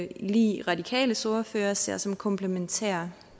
lig radikales ordfører ser som komplementære